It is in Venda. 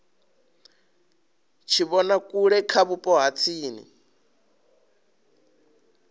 tshivhonakule kha vhupo ha tsini